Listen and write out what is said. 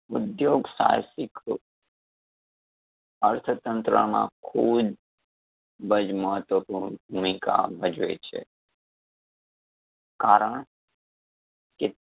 ઉધ્યોગ સાહસિક અર્થતંત્ર માં ખુબજ મહત્વપૂર્ણ ભૂમિકા ભજવે છે. કારણ